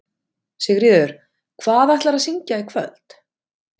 Sigríður: Hvað ætlarðu að syngja í kvöld?